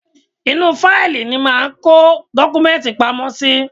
Inú u fáìlì ni a máa ń kó dọ́kúmẹ́ǹtì pamọ́ sí.